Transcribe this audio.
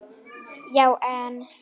Já en.